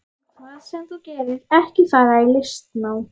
En hvað sem þú gerir, ekki fara í listnám.